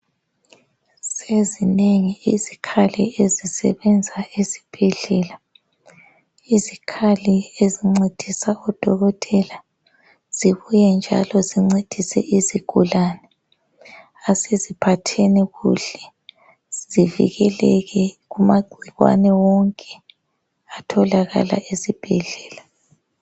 Sezinengi izikhali ezisebenza esibhedlela. Izikhali ezincedisa odokotela zibuye njalo zincedise izigulani. Asiziphatheni kuhle zivikeleke kumagcikwane wonke atholakala esibhedlela.